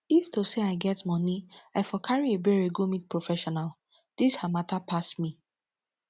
if to say i get money i for carry ebere go meet professional dis her matter pass me